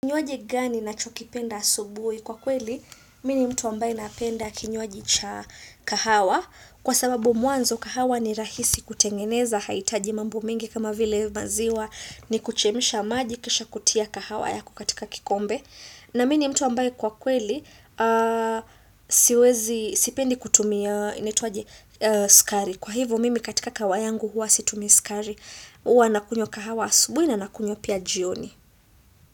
Kinywaji gani nacho kipenda asubui kwa kweli, mi ni mtu ambaye napenda kinywaji cha kahawa kwa sababu mwanzo kahawa ni rahisi kutengeneza haitaji mambo mingi kama vile maziwa ni kuchemsha maji kisha kutia kahawa yako katika kikombe na mini mtu ambaye kwa kweli siwezi sipendi kutumia inaitwaje skari kwa hivyo mimi katika kawa yangu huwa situmi skari huwa nakunywa kahawa asubui na nakunywa pia jioni.